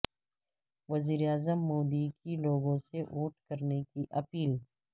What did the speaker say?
وزیر اعظم مودی کی لوگوں سے ووٹ کرنے کی اپیل